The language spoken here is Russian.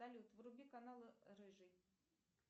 салют вруби канал рыжий